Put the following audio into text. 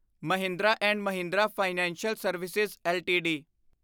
Mahindra and Mahindra financial service LTD